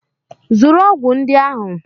Zụrụ ọgwụ ndị ahụ!